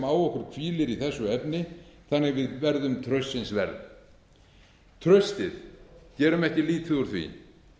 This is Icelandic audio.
á okkur hvílir í þessu efni þannig við verðum traustsins verð traustið gerum ekki lítið úr því